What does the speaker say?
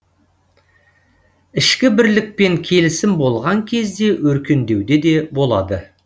ішкі бірлік пен келісім болған кезде өркендеуде де болады